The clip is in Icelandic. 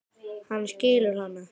Hann skilur hana.